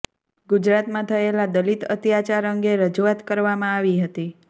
ગુજરાતમાં થયેલા દલિત અત્યાચાર અંગે રજૂઆત કરવામાં આવી હતી